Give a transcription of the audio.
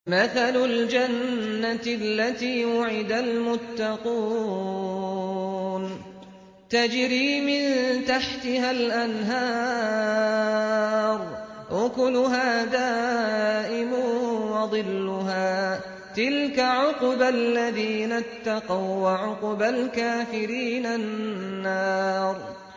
۞ مَّثَلُ الْجَنَّةِ الَّتِي وُعِدَ الْمُتَّقُونَ ۖ تَجْرِي مِن تَحْتِهَا الْأَنْهَارُ ۖ أُكُلُهَا دَائِمٌ وَظِلُّهَا ۚ تِلْكَ عُقْبَى الَّذِينَ اتَّقَوا ۖ وَّعُقْبَى الْكَافِرِينَ النَّارُ